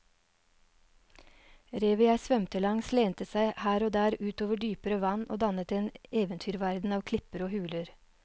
Revet jeg svømte langs lente seg her og der ut over dypere vann og dannet en eventyrverden av klipper og huler.